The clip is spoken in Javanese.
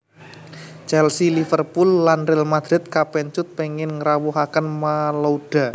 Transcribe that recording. Chelsea Liverpooll lan Real Madrid kapèncut pèngin ngrawuhaken Malouda